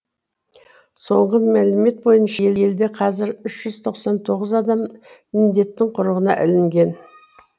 соңғы мәлімет бойынша елде қазір үш жүз тоқ сан тоғыз адам індеттің құрығына ілінген